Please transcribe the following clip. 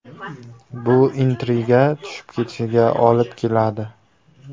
Bu intriga tushib ketishiga olib keladi.